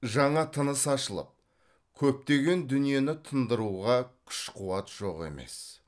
жаңа тыныс ашылып көптеген дүниені тындыруға күш қуат жоқ емес